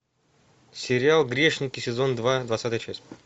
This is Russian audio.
сериал грешники сезон два двадцатая часть